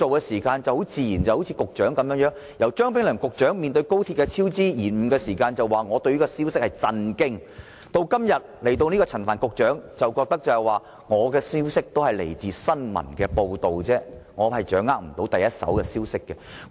前局長張炳良被問到高鐵超支延誤時表示："我對這個消息感到震驚"；而現任局長陳帆則表示："我的消息是來自新聞報道，我掌握不到第一手消息"。